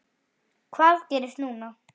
Hvað gerist núna?